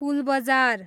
Pulbazar